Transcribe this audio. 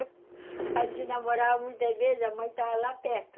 A gente namorava muitas vezes, a mãe estava lá perto